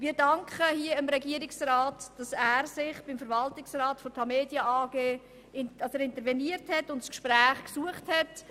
Wir danken dem Regierungsrat dafür, dass er beim Verwaltungsrat der Tamedia AG interveniert und das Gespräch gesucht hat.